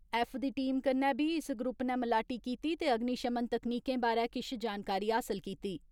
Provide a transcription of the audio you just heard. F दी team कन्नै बी इस ग्रुप नै मलाटी कीती ते अग्निशमन तक्नीकें बारै किश जानकारी हासल कीती।